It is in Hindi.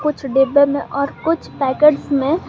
कुछ डिब्बे में और कुछ पैकेट्स में--